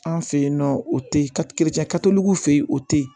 An fe yen nɔ o te fe ye o te ye